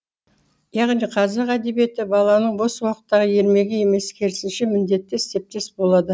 яғни қазақ әдебиеті баланың бос уақыттағы ермегі емес керісінше міндеті іспеттес болады